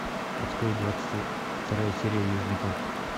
открой двадцать вторая серия южный парк